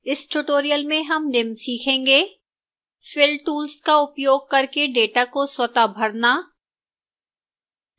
इस tutorial में हम निम्न सीखेंगे: